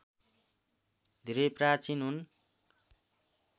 धेरै प्राचीन हुन्